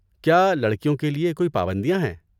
کیا لڑکیوں کے لیے کوئی پابندیاں ہیں؟